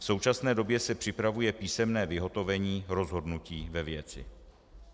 V současné době se připravuje písemné vyhotovení rozhodnutí ve věci.